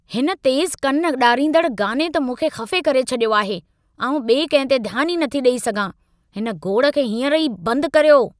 हिन तेज़ु कन ॾारींदड़ गाने त मूंखे खफ़े करे छॾियो आहे। आउं ॿिए कंहिं ते ध्यान ई नथी ॾेई सघां। हिन गोड़ खे हींअर ई बंदि करियो।